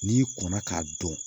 N'i kɔnna k'a dɔn